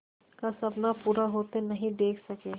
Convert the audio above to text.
का सपना पूरा होते नहीं देख सके